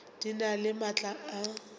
di na le maatla a